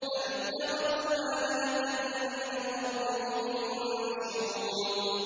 أَمِ اتَّخَذُوا آلِهَةً مِّنَ الْأَرْضِ هُمْ يُنشِرُونَ